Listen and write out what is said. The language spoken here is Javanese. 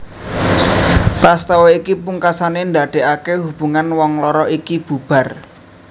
Prastawa iki pungkasané ndadékaké hubungan wong loro iki bubar